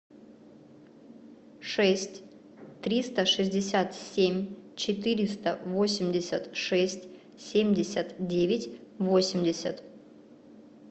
шесть триста шестьдесят семь четыреста восемьдесят шесть семьдесят девять восемьдесят